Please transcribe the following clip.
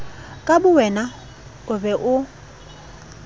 ka bowena o be o